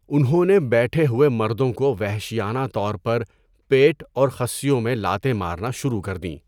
انہوں نے بیٹھے ہوئے مردوں کو وحشیانہ طور پر پیٹ اور خصیوں میں لاتیں مارنا شروع کر دیں۔